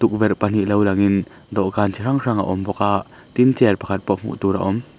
tukverh pahnih lo langin dawhkan chi hrang hrang a awm bawk a tin chair pakhat pawh hmuh tur a awm.